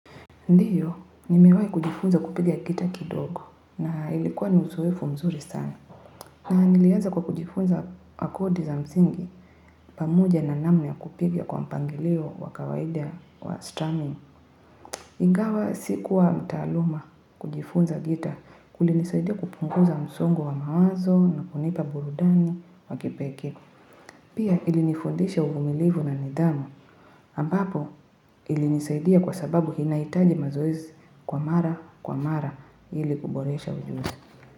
Ndiyo, nimewahi kujifunza kupiga gitaa kidogo na ilikuwa ni uzoefu mzuri sana. Na niliaza kwa kujifunza kodi za msingi pamoja na namna ya kupiga kwa mpangilio wa kawaida wa straming. Ingawa sikuwa mtaaluma kujifunza gitaa kulinisaidia kupunguza msongo wa mawazo na kunipa burudani wa kipekee. Pia ilinifundisha uvumilivu na nidhamu, ambapo ilinisaidia kwa sababu inaitaji mazoezi kwa mara kwa mara ili kuboresha ujuzi.